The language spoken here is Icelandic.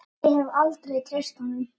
Ég hef aldrei treyst honum.